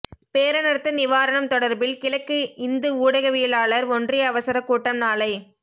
பேரனர்த்த நிவாரணம் தொடர்பில் கிழக்கு இந்து ஊடகவியலாளர் ஒன்றிய அவசரக் கூட்டம் நாளை